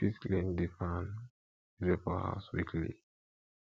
we fit clean di fan wey dey for house weekly